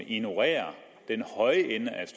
ignorerer den høje ende af